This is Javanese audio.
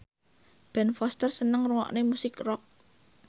Ben Foster seneng ngrungokne musik rock